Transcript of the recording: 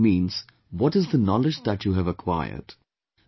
Life truly means what is the knowledge that you have acquired